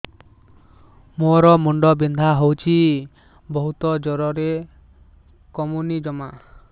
ମୋର ମୁଣ୍ଡ ବିନ୍ଧା ହଉଛି ବହୁତ ଜୋରରେ କମୁନି ଜମା